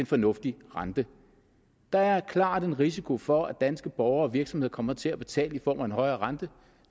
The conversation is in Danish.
fornuftig rente der er klart en risiko for at danske borgere og virksomheder kommer til at betale i form af en højere rente